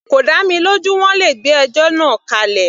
Kò dá mi lójú, wọ́n le gbé ẹjọ́ náà kálẹ̀.